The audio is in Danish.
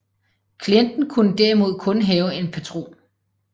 Klienten kunne derimod kun have en patron